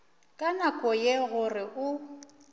ka nako ye gore o